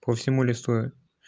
по всему листу